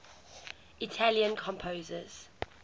italian composers